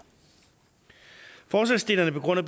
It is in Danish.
forslagsstillerne begrunder